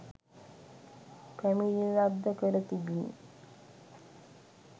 පැමිණිල්ලක්‌ද කර තිබිණි.